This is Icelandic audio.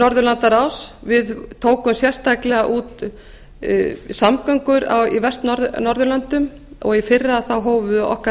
norðurlandaráðs við tókum sérstaklega út samgöngur á veit norðurlöndum og í fyrra hófum við okkar